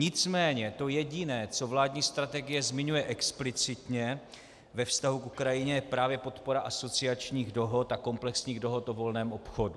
Nicméně to jediné, co vládní strategie zmiňuje explicitně ve vztahu k Ukrajině, je právě podpora asociačních dohod a komplexních dohod o volném obchodu.